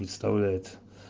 представляет